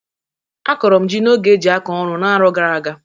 Akọrọ m jị n'oge e jị akọ ọrụ n'aro gara aga.